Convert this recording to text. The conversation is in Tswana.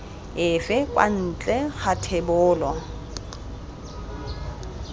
efe kwa ntle ga thebolo